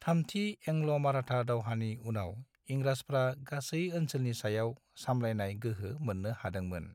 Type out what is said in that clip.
थामथि एंग्ल'-माराठा दावहानि उनाव, इंराजफ्रा गासै ओनसोलनि सायाव सामलायनाय गोहो मोननो हादोंमोन।